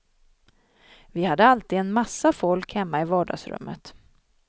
Vi hade alltid en massa folk hemma i vardagsrummet.